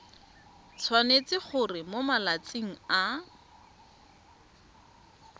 tshwanetse gore mo malatsing a